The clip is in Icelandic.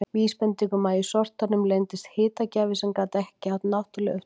Vísbending um að í sortanum leyndist hitagjafi sem gat ekki átt náttúruleg upptök.